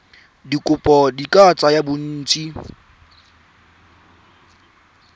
dikopo di ka tsaya bontsi